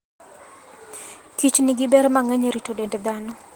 Kichnigi ber mang'eny e rito dend dhano.